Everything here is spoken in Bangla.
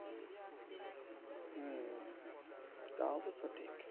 তাও তো সঠীক।